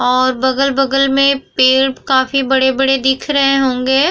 और बगल-बगल में पेड़ काफी बड़े-बड़े दिख रहे होंगे।